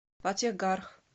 фатехгарх